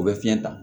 U bɛ fiɲɛ ta